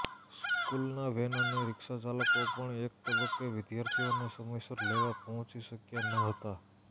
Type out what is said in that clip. સ્કૂલના વેન અને રિક્ષા ચાલકો પણ એક તબક્કે વિદ્યાર્થીઓને સમયસર લેવા પહોંચી શક્યા ન હતાં